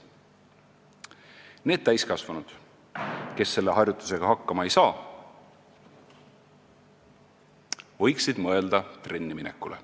" Need täiskasvanud, kes selle harjutusega hakkama ei saa, võiksid mõelda trenni minekule.